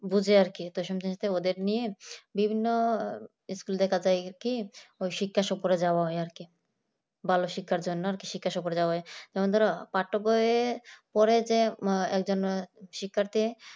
বুঝে আর কি প্রথম সেন নিত্তে ওদেরকে নিয়ে বিভিন্ন school চত্বরে যাওয়া হয় আর কি। ভালো শিক্ষার জন্য আর কি শিক্ষা সফরে যাওয়া হয় তেমনভাবে পার্থক্যই পরে যে মা একজনার শিক্ষার্থীর